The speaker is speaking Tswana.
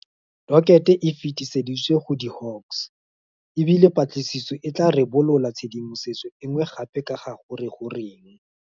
Dokete e fetiseditswe go di Hawks, e bile patlisiso e tla ribolola tshedimosetso e nngwe gape ka ga gore goreng.